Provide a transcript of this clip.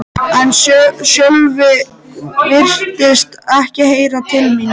En Sölvi virtist ekki heyra til mín.